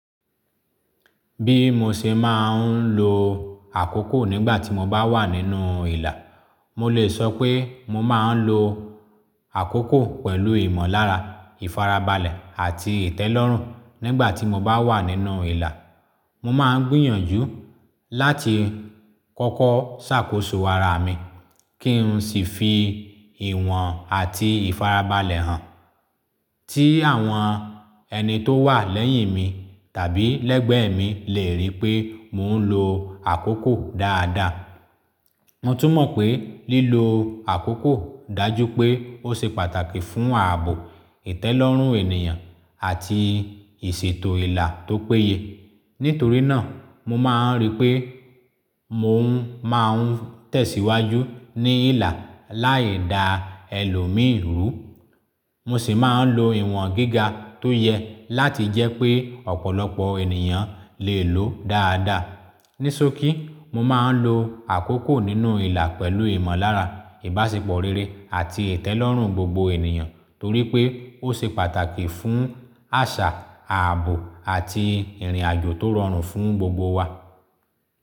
Bí mo ṣe máa ń lo àkókò nígbà tí mo bá wà nínú ìlà, mo lè sọ pé mo máa ń lo àkókò pẹ̀lú ìmọ̀lára, ìfarabalẹ̀ àti ìtẹ́lọ́rùn. Nígbà tí mo bá wà nínú ìlà, mo máa ń gbìyànjú láti kọ́kọ́ ṣàkóso ara mi kí n sì fi ìwọ̀n àti ìfarabalẹ̀ hàn tí àwọn ẹni tó wà lẹ́yìn mi tàbí lẹ́gbẹ̀ẹ́ mi lè rí pé mò ń lo àkókò dáadáa. Mo tún mọ̀ pé lílo àkókò dájú pé ó ṣe pàtàkì fún ààbò, ìtẹ́lọ́rùn ènìyàn àti ìṣètò ìlà tó péye. Nítorí náà, mo máa ń rí pé mò ń máa ń tẹ̀síwájú ní ìlà láì da ẹlòmíirú. Mo sì máa ń lo ìwọ̀n gíga tó yẹ láti jẹ́ pé ọ̀pọ̀lọpọ̀ ènìyàn lè lòó dáadáa. Nísokí, mo máa ń lo àkókò nínú ìlà pẹ̀lú ìmọ̀lára, ìbáṣepọ̀ rere àti ìtẹ́lọ́rùn gbogbo ènìyàn torí pé ó ṣe pàtàkì fún àṣà, ààbò àti ìrìnàjò tó rọrùn fún gbogbo wa.